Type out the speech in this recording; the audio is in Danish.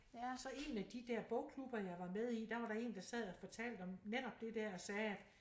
Så én af de der bogklubber jeg var med i der var der en der sad og fortalte om netop der dér og sagde at